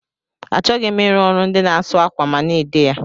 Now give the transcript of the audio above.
Achọghị m ịrụ ọrụ ndị na asụ akwa ma na-ede ya.